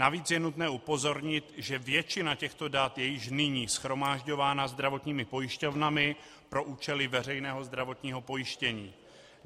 Navíc je nutné upozornit, že většina těchto dat je již nyní shromažďována zdravotními pojišťovnami pro účely veřejného zdravotního pojištění.